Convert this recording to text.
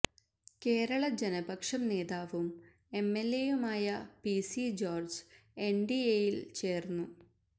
കേരള ജനപക്ഷം നേതാവും എംഎല്എയുമായ P C George എന്ഡിഎയില് ചേര്ന്നു